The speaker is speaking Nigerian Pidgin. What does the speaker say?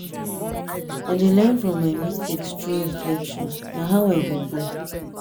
i dey learn from my mistakes through reflection; na how i go grow.